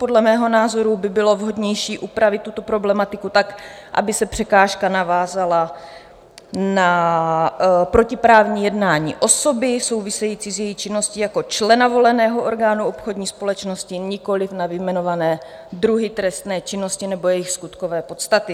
Podle mého názoru by bylo vhodnější upravit tuto problematiku tak, aby se překážka navázala na protiprávní jednání osoby související s její činností jako člena voleného orgánu obchodní společnosti, nikoliv na vyjmenované druhy trestné činnosti nebo jejich skutkové podstaty.